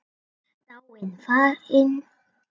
Dáin, farin.